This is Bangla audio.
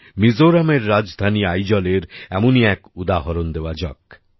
মিজোরামের রাজধানী আইজলের এমনই এক উদাহরণ দেওয়া যাক